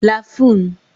lafun